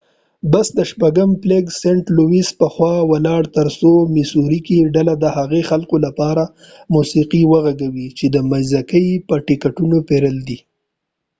بس د شپږم فلیګ سنټ لويس په خوا ولاړ تر څو په میسوری کې ډله د هغه خلکو لپاره موسیقی و غږوي چې د مځکې یې ټکټونه پیرلی دي